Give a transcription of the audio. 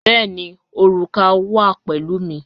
Bẹ̀ẹ̀ni, orúkà wa pẹ̀lú mi.